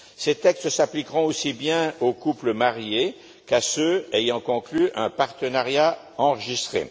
Ces textes s'appliqueront aussi bien aux couples mariés qu'à ceux ayant conclu un partenariat enregistré.